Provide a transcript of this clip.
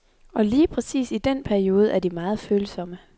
Og lige præcis i den periode er de meget følsomme.